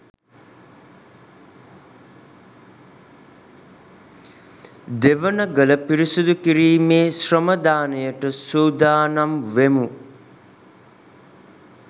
දෙවනගල පිරිසිදු කිරිමෙ ශ්‍රමදානයට සුදානම් වෙමු